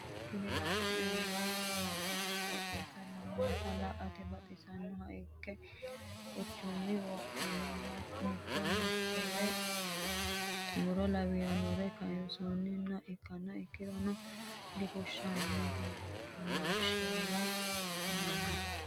Kuni la'neemo kalaqonna qoxeessi lowonta la"ate baxisannoha ikke kinchunni wo'minohu mito mitore muro lawiyoore kayisi'nanni ikkiha ikkiro difushanoho mooshela hunannoho.